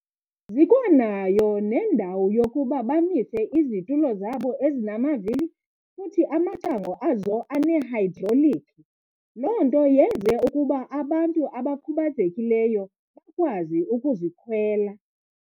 Zikwanayo nendawo yokuba bamise izitulo zabo ezinamavili futhi amacango azo anehayidrolikhi, loo nto yenze ukuba abantu abakhubazekileyo bakwazi ukuzikhwela.